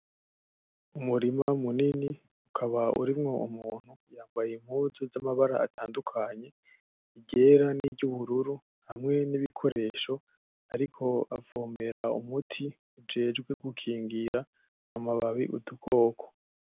Umurima munini ukaba urimwo umuntu yambaye impuzu zamabara atandukanye iryera niryubururu hamwe nibikoresho ,akaba ariko avomera umuti ujejwe gukingira amababi udukoko .